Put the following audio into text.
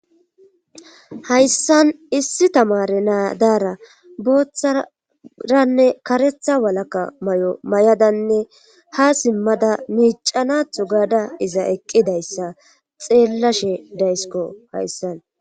Hayssan issi tamare naadaara booththaranne karetha walaka may7o may7adanne ha simmada miicanatho gaada iza eqqidayssa xeellashe daysiko hayssana.